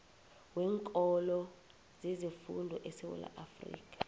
weenkolo zezefundo esewula